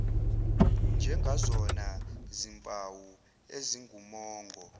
njengazona zimpawu ezingumongo